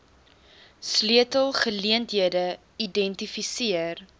sleutel geleenthede identifiseer